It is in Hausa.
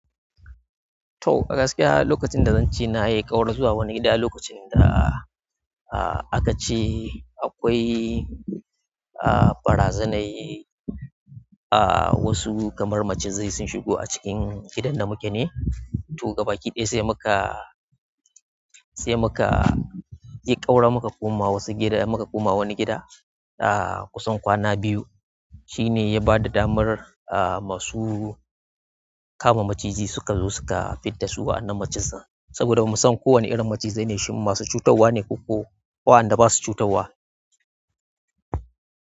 To a gaskiya lokacin da zan ce na yi ƙaura zuwa wani gida, lokacin da, ah, aka ce akwai, ah, barazanar, ah, wasu kamar macizai sun shigo a cikin gidan da muke ne. To gabaki ɗaya sai muka, sai muka yi ƙaura muka koma wasu gida, muka koma wani gida, ah, kusan kwana biyu. Shi ne ya ba da damar, ah, masu kama maciji suka zo suka kama fidda su wa'annan macizan saboda bamu san ko wane irin macizai ne, shin masu cutarwa ne ko kuwa wanda ba su cutarwa.